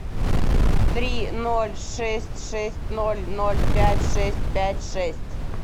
три ноль шесть шесть ноль ноль пять шесть пять шесть